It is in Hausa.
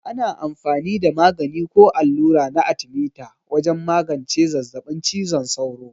Ana amfani da magani ko allura na arthemeter wajen magance zazzabin cizon sauro.